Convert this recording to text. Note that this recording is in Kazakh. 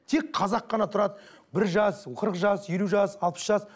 тек қана қазақ қана тұрады бір жас қырық жас елу жас алпыс жас